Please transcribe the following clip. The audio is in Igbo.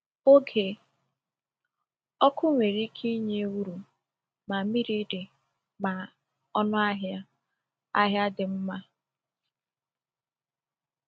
Oge ọkụ nwere ike inye uru ma mmiri dị ma ọnụahịa ahịa dị mma.